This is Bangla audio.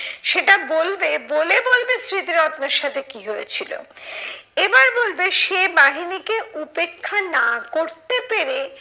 সেটা বলবে, বলে বলবে স্মৃতিরত্নর সাথে কি হয়েছিল। এবার বলবে সে বাহিনীকে উপেক্ষা না করতে পেরে,